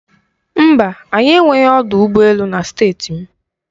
Mba, anyị enweghị ọdụ ụgbọ elu na Steeti m.